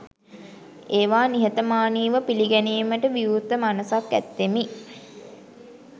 ඒවා නිහතමානී ව පිළිගැනීමට විවෘත මනසක් ඇත්තෙමි.